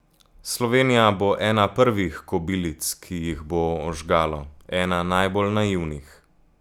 Slovenija bo ena prvih kobilic, ki jih bo ožgalo, ena najbolj naivnih.